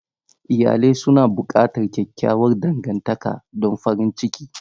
Iyalai suna buƙatar kyakkyawar dangantaka don farin ciki.